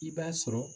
I b'a sɔrɔ